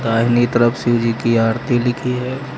दाहिनीं तरफ शिवजी की आरती लिखी है।